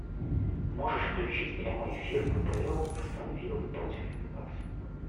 можешь включить прямой эфир апл астон вилла против нью касла